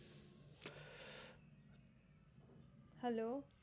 hello